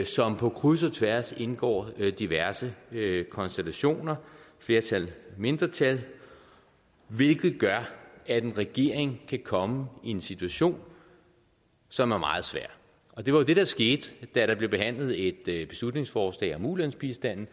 som på kryds og tværs indgår i diverse konstellationer flertal og mindretal hvilket gør at en regering kan komme i en situation som er meget svær og det var jo det der skete da der blev behandlet et beslutningsforslag om ulandsbistanden